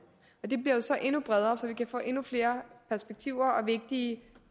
og det bliver jo så endnu bredere så vi kan få endnu flere perspektiver og vigtige